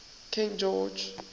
king george